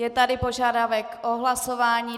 Je tady požadavek o hlasování.